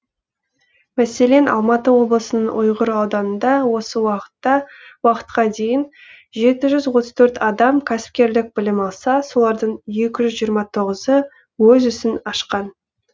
мәселен алматы облысының ұйғыр ауданында осы уақытқа дейін жеті жүз отыз төрт адам кәсіпкерлік білім алса солардың екі жүз жиырма тоғызы өз ісін ашқан